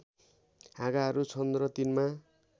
हाँगाहरू छन् र तिनमा